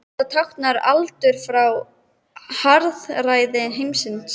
Þetta táknar aldauða frá harðræði heimsins.